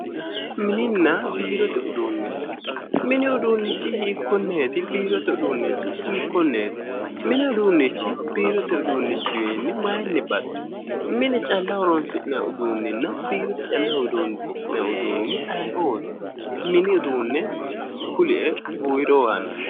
Mininna biirote uduune ,mini uduuni hiikkoneti, biirote uduuni hiikkoneti, mini uduunichi biirote uduunichiwinni maayinni baxxi, mine calla horonsi'nanni uduunichinna biirote calla horonsi'nanni uduunichi ayeeoti, mini uduunicho kulie ?